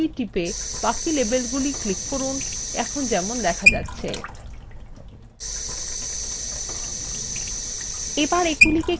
তারপর shift key টিপে; বাকি লেবেলগুলি click করুন এখন যেমন দেখা যাচ্ছে